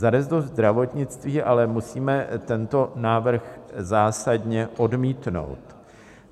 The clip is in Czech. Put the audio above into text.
Za resort zdravotnictví ale musíme tento návrh zásadně odmítnout.